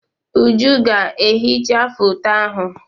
Uju ga-ehicha foto ahụ.